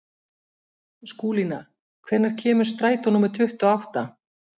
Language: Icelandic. Skúlína, hvenær kemur strætó númer tuttugu og átta?